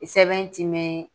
I sɛbɛn ti mɛn